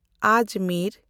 Ajmer